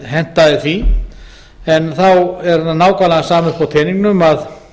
hentaði því en þá er nákvæmlega sama uppi á teningnum að